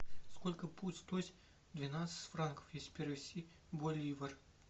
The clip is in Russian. сколько будет стоить двенадцать франков если перевести в боливар